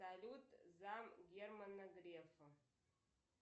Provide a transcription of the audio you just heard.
салют зам германа грефа